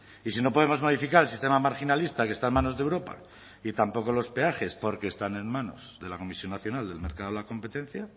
y si no podemos modificar el sistema marginalista que está en manos de europa y tampoco los peajes porque están en manos de la comisión nacional del mercado de la competencia